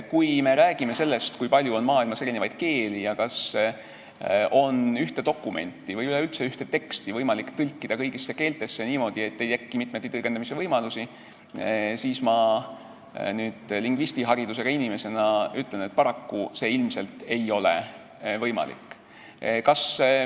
Kui me räägime sellest, kui palju on maailmas keeli ja kas ühte dokumenti või üleüldse ühte teksti on võimalik tõlkida kõigisse keeltesse niimoodi, et ei teki mitmeti tõlgendamise võimalusi, siis ma lingvistiharidusega inimesena ütlen, et paraku ei ole see ilmselt võimalik.